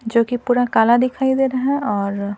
जो कि पूरा काला दिखाई दे रहा है और--